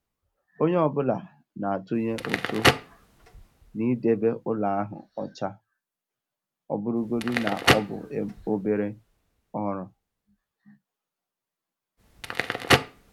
Onye ọ bụla na-atụnye ụtụ n'idebe ụlọ ahụ ọcha, ọ bụrụgodị na ọ bụ obere ọrụ.